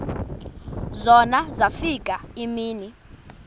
zona zafika iimini